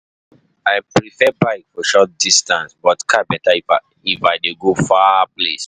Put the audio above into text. I prefer bike for short distance, but car better if I dey go far place.